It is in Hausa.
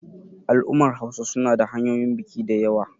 al'ummar Hausa suna da hanyoyin biki da yawa